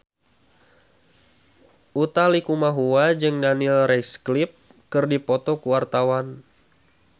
Utha Likumahua jeung Daniel Radcliffe keur dipoto ku wartawan